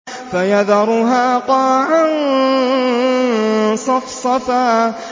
فَيَذَرُهَا قَاعًا صَفْصَفًا